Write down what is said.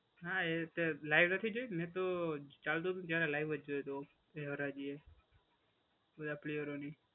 હા, એ તે લાઈવ નથી જોઈ નહીં તો મેં તો ચાલતું તું ત્યારે લાઈવ જ જોયું હતું એ હરાજી એ બધા પ્લેયરોની.